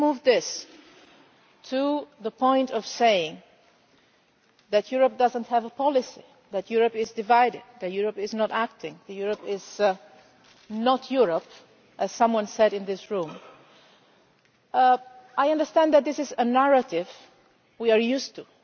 this. When we move this to the point of saying that Europe does not have a policy, that Europe is divided, that Europe is not acting, that Europe is not Europe as someone said in this room I understand that this is a narrative we are used